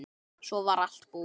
Svo var allt búið.